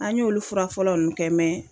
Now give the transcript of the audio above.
An y'olu fura fɔlɔ ninnu kɛ